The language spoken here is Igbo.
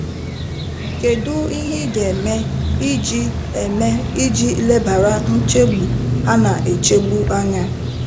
Kedu ihe ị ga - eme iji - eme iji lebara nchegbu ha na echegbu anya?